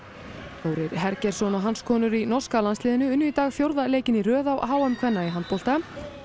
Þórir Hergeirsson og hans konur í norska landsliðinu unnu í dag fjórða leikinn í röð á h m kvenna í handbolta